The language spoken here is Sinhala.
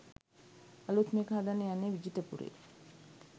අලුත්ම එක හදන්න යන්නේ විජිතපුරේ